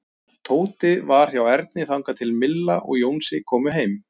Tóti var hjá Erni þangað til Milla og Jónsi komu heim.